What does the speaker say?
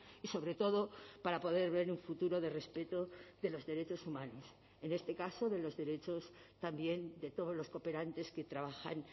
y sobre todo para poder ver un futuro de respeto de los derechos humanos en este caso de los derechos también de todos los cooperantes que trabajan